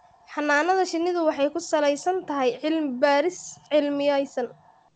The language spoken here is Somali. Xannaanada shinnidu waxay ku salaysan tahay cilmi-baadhis cilmiyaysan.